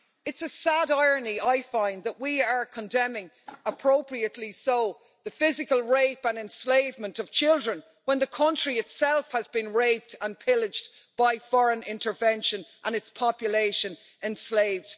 It's a sad irony, I find, that we are condemning appropriately so the physical rape and enslavement of children when the country itself has been raped and pillaged by foreign intervention and its population enslaved.